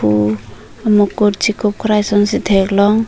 mukut chekup krei son si theklong.